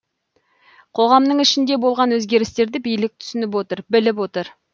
қоғамның ішінде болған өзгерістерді билік түсініп отыр біліп отыр